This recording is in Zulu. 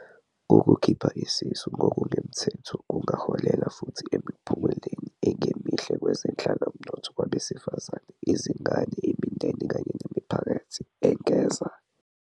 "Ukukhipha isisu ngokungemthetho kungaholela futhi emiphumeleni engemihle kwezenhlalomnotho kwabesifazane, izingane, imindeni kanye nemiphakathi," engeza."